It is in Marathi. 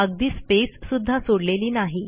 अगदी स्पेस सुध्दा सोडलेली नाही